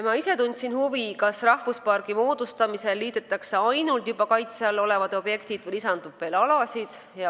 Ma ise tundsin huvi, kas rahvuspargi moodustamisel liidetakse ainult juba kaitse all olevad objektid või lisandub veel alasid.